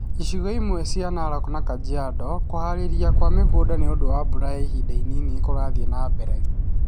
Icigo imwe cia Narok na Kajiado, kũhaarĩria kwa mũgũnda nĩ ũndũ wa mbura ya ihinda inini nĩ kũrathiĩ na mbere.